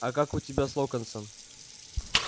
а как у тебя с локонсом